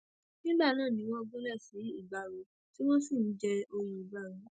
nígbà náà ni wọn gúnlẹ sí ìgbárò tí wọn sì ń jẹ òye ìgbárò